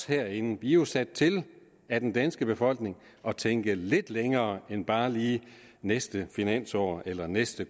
herinde er jo sat til af den danske befolkning at tænke lidt længere end bare lige til næste finansår eller næste